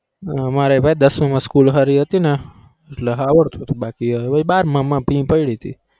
અમારે ભાઈ દસ માં માં school હારી હતી ને આવડતું તું બારમાં પી પડી તી